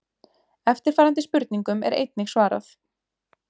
Eftirfarandi spurningum er einnig svarað: